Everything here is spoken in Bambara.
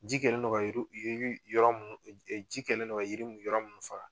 Ji kɛlen ji kɛlen don ka jiri yɔrɔ minnu faga